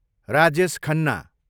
Rajesh Khanna